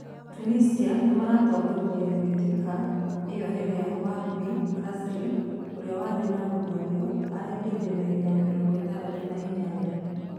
Tunicia nĩ maratongorĩrie mbĩtĩka ĩo rĩrĩa Wahbi Khazri ũrĩa warĩ na gũrario araingĩrire dagĩka ya mĩrongo ĩtandatũ na inyanya.